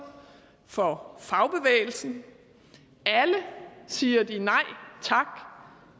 for fagbevægelsen alle siger de nej tak